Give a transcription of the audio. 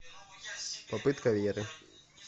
попытка веры